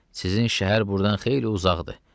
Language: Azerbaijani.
Sizin şəhər burdan xeyli uzaqdır.